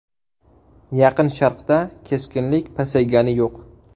Yaqin Sharqda keskinlik pasaygani yo‘q.